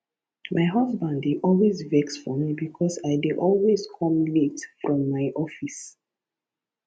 my husband dey always vex for me because i dey always come late from my office